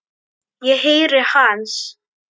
Ég heyri hans.